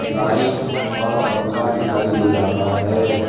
लाइटथ और पंखा दिखाई दे रहा हैं।